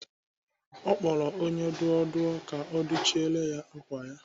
Ọ kpọrọ onye dụọ dụọ ka ọ dụchiere ya ákwà ya.